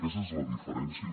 aquesta és la diferència